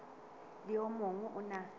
le o mong o na